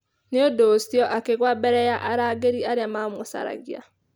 Nĩ ũndũ ũcio akĩgũa mbere ya arangĩri arĩa maamũcaragia.